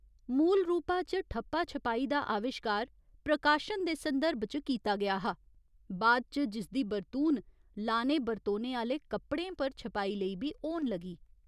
मूल रूपा च ठप्पा छपाई दा अविश्कार प्रकाशन दे संदर्भ च कीता गेआ हा, बाद च जिसदी बरतून लाने बरतोने आह्‌ले कपड़ें पर छपाई लेई बी होन लगी।